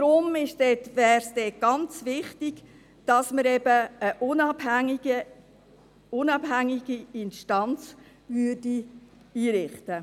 Darum wäre es ganz wichtig, dass man dort eben eine unabhängige Instanz einrichtet.